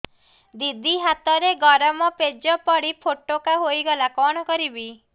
ଦିଦି ହାତରେ ଗରମ ପେଜ ପଡି ଫୋଟକା ହୋଇଗଲା କଣ କରିବି